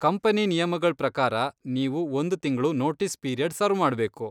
Company ನಿಯಮಗಳ್ ಪ್ರಕಾರ, ನೀವು ಒಂದ್ ತಿಂಗ್ಳು ನೋಟೀಸ್ ಪೀರಿಯಡ್ ಸರ್ವ್ ಮಾಡ್ಬೇಕು.